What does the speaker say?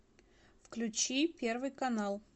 включи первый канал